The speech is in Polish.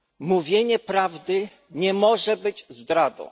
Mówienie prawdy nie może być zdradą.